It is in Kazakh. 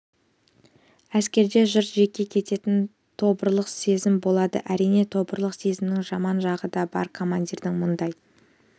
әскерде жұрт жек көретін тобырлық сезім болады әрине тобырлық сезімнің жаман жағы да бар командирдің мұндай